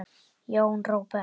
Jón Róbert.